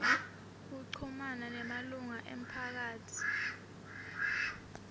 kuchumana nemalunga emphakatsi